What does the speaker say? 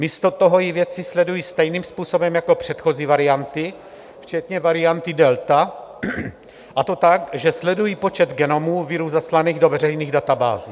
Místo toho ji vědci sledují stejným způsobem jako předchozí varianty, včetně varianty delta, a to tak, že sledují počet genomů viru zaslaných do veřejných databází.